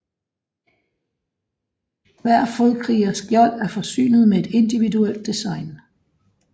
Hver fodkrigers skjold er forsynet med et individuelt design